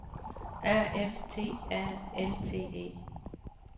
A F T A L T E